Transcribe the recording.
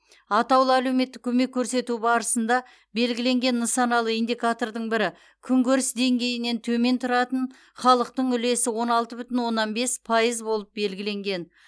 атаулы әлеуметтік көмек көрсету барысында белгіленген нысаналы индикатордың бірі күнкөріс деңгейінен төмен тұратын халықтың үлесі он алты бүтін оннан бес пайыз болып белгіленген